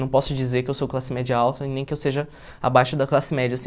Não posso dizer que eu sou classe média alta, nem que eu seja abaixo da classe média, assim.